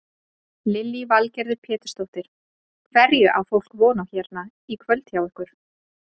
Lillý Valgerður Pétursdóttir: Hverju á fólk von á hérna í kvöld hjá ykkur?